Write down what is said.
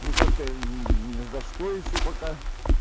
ну как-то не за что ещё пока